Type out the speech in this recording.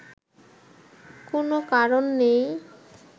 কোনো কারণ নেই